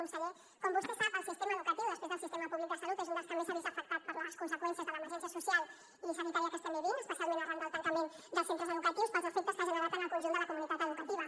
conseller com vostè sap el sistema educatiu després del sistema públic de salut és un dels que més s’ha vist afectat per les conseqüències de l’emergència social i sanitària que estem vivint especialment arran del tancament dels centres educatius pels efectes que ha generat en el conjunt de la comunitat educativa